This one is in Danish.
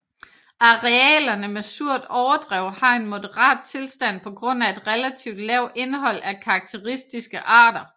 Arealerne med surt overdrev har en moderat tilstand på grund af et relativt lavt indhold af karakteristiske arter